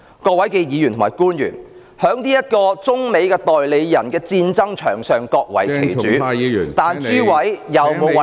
各位議員及官員，在這個中美代理人戰爭場上各為其主，但諸位有否為香港的利益......